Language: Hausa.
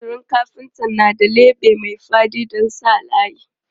Fensirin kafintar na da leɓe mai faɗi don jan layi.